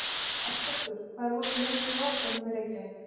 Ásbergur, hvað er opið lengi í Háskólanum í Reykjavík?